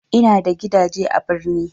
Ina da gidaje a birni